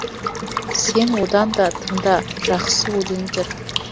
сен одан да тыңда жақсы өлеңдер